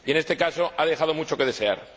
En este caso, han dejado mucho que desear.